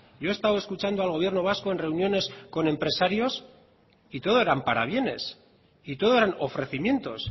yo he estado escuchando al gobierno vasco en reuniones con empresarios y todo eran parabienes y todo eran ofrecimientos